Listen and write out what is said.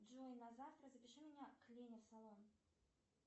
джой на завтра запиши меня к лене в салон